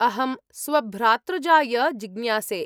अहं स्वभ्रातृजाय जिज्ञासे।